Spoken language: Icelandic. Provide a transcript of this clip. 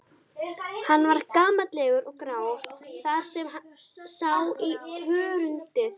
Hann var gamallegur og grár þar sem sá í hörundið.